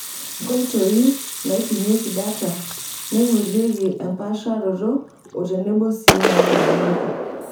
Nkoitoi, naipimieki data ,neingorieki empaasharoto oo tenebo sii naajurunyieki.